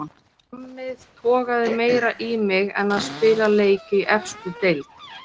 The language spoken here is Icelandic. Djammið togaði meira í mig en að spila leik í efstu deild.